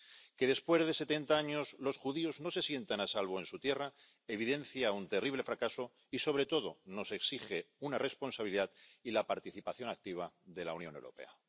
Que después de setenta años los judíos no se sientan a salvo en su tierra evidencia un terrible fracaso, y, sobre todo, nos exige una responsabilidad y la participación activa de la Unión Europea.